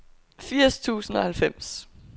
firs tusind og halvfems